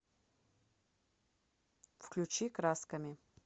включи красками